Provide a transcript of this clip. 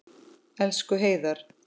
Elsku Heiðar.